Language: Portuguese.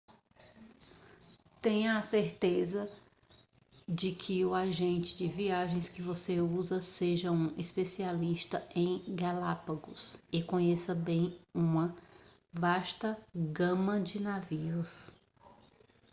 tenha a certeza de que o agente de viagens que você usar seja um especialista em galápagos e conheça bem uma vasta gama de navios